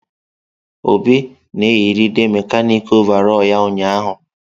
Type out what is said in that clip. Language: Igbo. Obi na-eyịride mekanịkị ọvarọọr ya ụnyahụ.